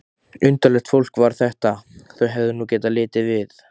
Undarlegt fólk var þetta, þau hefðu nú getað litið við!